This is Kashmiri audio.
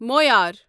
معیار